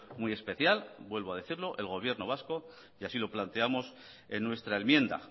muy especial vuelvo a decirlo el gobierno vasco y así lo planteamos en nuestra enmienda